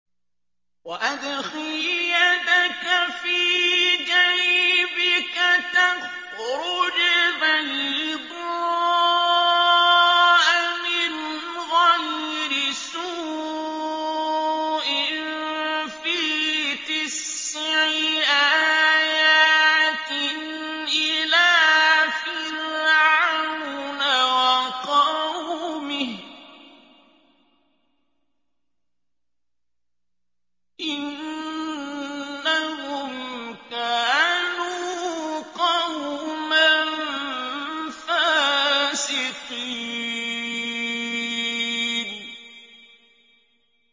وَأَدْخِلْ يَدَكَ فِي جَيْبِكَ تَخْرُجْ بَيْضَاءَ مِنْ غَيْرِ سُوءٍ ۖ فِي تِسْعِ آيَاتٍ إِلَىٰ فِرْعَوْنَ وَقَوْمِهِ ۚ إِنَّهُمْ كَانُوا قَوْمًا فَاسِقِينَ